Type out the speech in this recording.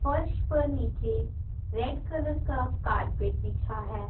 फर्श पर नीचे रेड कलर का कारपेट बिछा है।